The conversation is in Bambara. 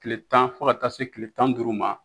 kile tan fɔ ka taa se kile tan ni duuru ma